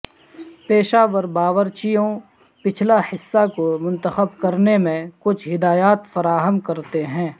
پیشہ ور باورچیوں پچھلا حصہ کو منتخب کرنے میں کچھ ہدایات فراہم کرتے ہیں